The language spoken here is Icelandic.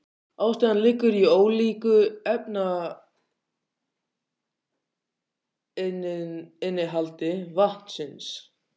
Ástæðan liggur í ólíku efnainnihaldi vatnsins.